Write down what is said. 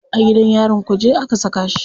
A gidan yarin kuje aka saka shi.